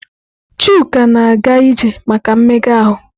Chuka na-aga ije maka mmega ahụ.